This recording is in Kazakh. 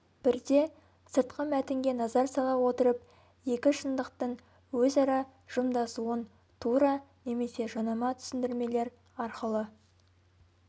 бірде сыртқы мәтінге назар сала отырып екі шындықтың өзара жымдасуын тура немесе жанама түсіндірмелер арқылы